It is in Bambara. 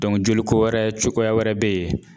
joliko wɛrɛ cogoya wɛrɛ be ye